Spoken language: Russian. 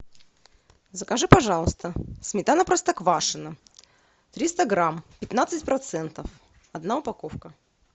закажи пожалуйста сметана простоквашино триста грамм пятнадцать процентов одна упаковка